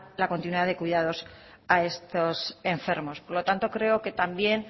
la continuidad de cuidados a estos enfermos por lo tanto creo que también